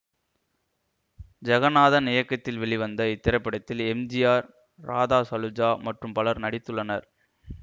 ஜெகநாதன் இயக்கத்தில் வெளிவந்த இத்திரைப்படத்தில் எம் ஜி ஆர் ராதாசலுஜா மற்றும் பலரும் நடித்துள்ளனர்